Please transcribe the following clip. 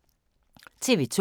TV 2